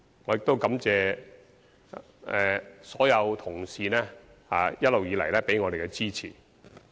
我亦感謝所有同事一直以來給予我們支持。